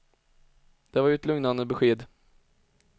Det var ju ett lugnande besked.